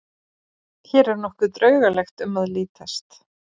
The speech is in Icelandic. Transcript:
Hér er nokkuð draugalegt um að lítast.